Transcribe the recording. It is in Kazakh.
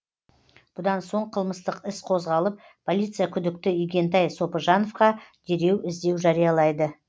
бұдан соң қылмыстық іс қозғалып полиция күдікті игентай сопыжановқа дереу іздеу жариялайды